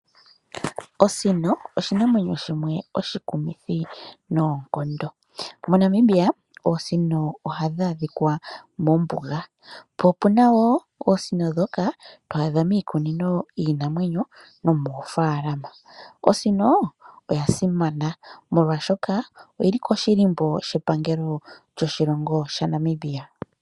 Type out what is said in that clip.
Osino oshinamwenyo shimwe oshikumithi noonkondo. MoNamibia oosino ohadhi adhika mombuga. Opuna wo oosino ndhoka to adha miikunino yiinamyenyo nomoofaalama. Osino oyasimana molwashoka oyili koshilimbo shepangelo lyoshilongo shaNamibia.